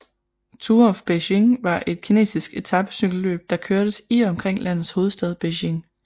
Tour of Beijing var et kinesiske etapecykelløb der kørtes i og omkring landets hovedstad Beijing